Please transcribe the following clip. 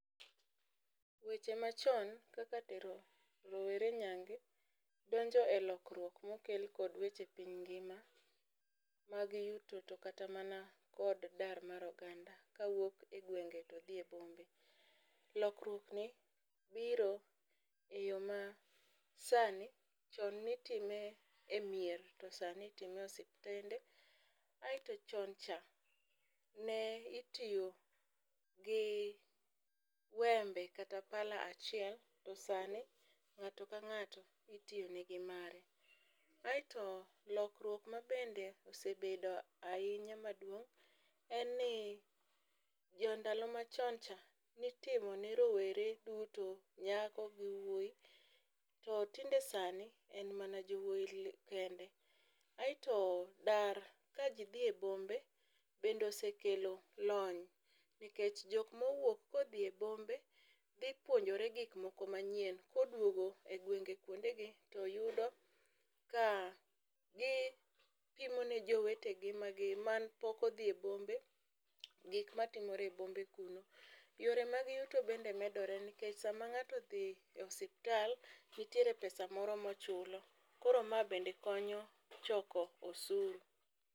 Weche machon kaka tero rowere nyange donjo e lokruok mokel kod weche epiny ngima mag yuto to kata mana kod dar mar oganda kawuok egwenge to dhi ebombe. lokruokni biro eyoo masani chonne itime emier to sani itime e osiptende aeto chon cha ne itiyo gi wembe kata pala achiel to sani ng'ato ka ng'ato itiyone gi mare. Aeto lokruok ma bende osebedo ahinya maduong' en ni, jo ndalo machoncha ni timone rowere duto nyako gi wuoyi to tinde sani en mana jowuoyi kende. Aeto dar ka ji dhie bombe bende osekelo lony nikech jok mowuok kodhie bombe dhi puonjore gik moko manyien koduogo e gwenge kuondegi to yudo ka gi pimo ne jowetege magi man pok odhie bombe gik matimore ebombe kuno. Yore mag yuto bende medore nikech sama ng'ato odhie ospital nitiere pesa moro mochulo koro mae bende konyo choko osuru.